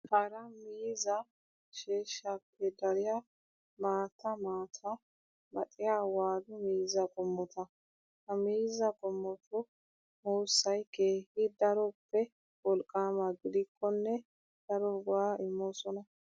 Hara miizzaa sheeshshaappe dariyaa maattaa maattaa maaxxiyaa wadu miizzaa qommota. Ha miizzaa qommotu muussayi keehi daroppe wolqqaama gidikkonne daro go''aa immoosonaa.